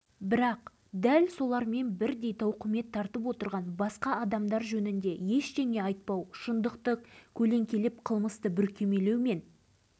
бәрінен бұрын осы баланың тағдыры жаныма қатты батады өзім де ойлай-ойлай ауруға шалдықтым ал одан